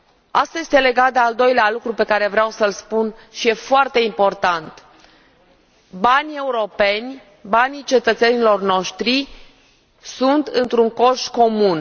Aceasta are legătură cu al doilea lucru pe care vreau să l spun, și care e foarte important banii europeni, banii cetățenilor noștri, sunt într un coș comun.